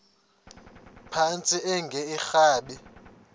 phantsi enge lrabi